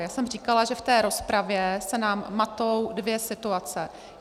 Já jsem říkala, že v té rozpravě se nám matou dvě situace.